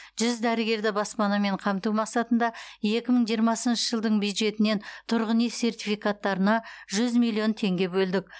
жүз дәрігерді баспанамен қамту мақсатында екі мың жиырмасыншы жылдың бюджетінен тұрғын үй сертификаттарына жүз миллион теңге бөлдік